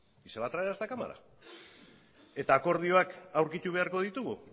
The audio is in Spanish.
y se va a traer a esta cámara akordioak aurkitu beharko ditugu